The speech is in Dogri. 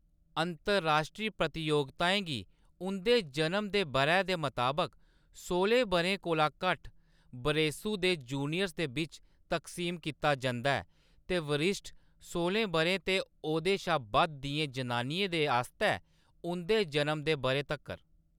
अंतर-राश्ट्री प्रतियोगिताएं गी उंʼदे जनम दे बʼरै दे मताबक सोह्‌लें बʼरें कोला घट्ट बरेसू दे जूनियर्स दे बिच्च तक्सीम कीता जंदा ऐ; ते बरिश्ठ, सोह्‌लें बʼरें ते ओह्‌‌‌दे शा बद्ध दियें जनानियें दे आस्तै उंʼदे जनम दे बʼरे तक्कर।